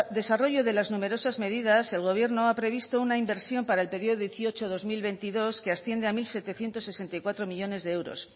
desarrollo de numerosas medidas el gobierno ha previsto una inversión para el periodo dos mil dieciocho dos mil veintidós que asciende a mil setecientos sesenta y cuatro millónes de euros